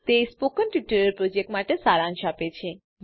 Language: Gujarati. તે સ્પોકન ટ્યુટોરીયલ પ્રોજેક્ટનો સારાંશ આપે છે